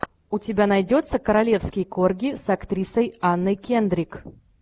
у тебя найдется королевский корги с актрисой анной кендрик